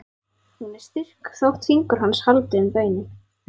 Hún er styrk þótt fingur hans haldi um beinin.